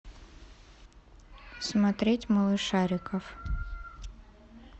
смотреть малышариков